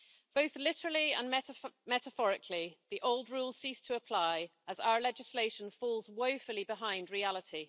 Both literally and metaphorically, the old rules cease to apply as our legislation falls woefully behind reality.